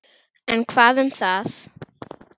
En hvað um það